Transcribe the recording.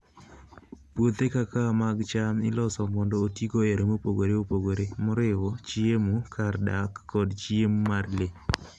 Puothe kaka mag cham iloso mondo otigo e yore mopogore opogore, moriwo chiemo, kar dak, kod chiemo mar le.